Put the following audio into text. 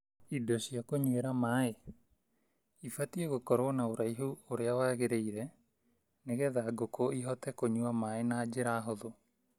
Indo cia kũnywĩra maaĩ: Ibatiĩ gũkorwo na ũraihu ũrĩa wagĩrĩire nĩgetha ngũkũ ihotage kũnywa maaĩ na njĩra hũthũ.